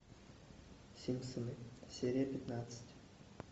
симпсоны серия пятнадцать